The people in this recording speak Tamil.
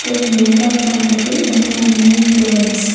இங்க யோகா பண்றது எல்லாமே கேர்ள்ஸ் .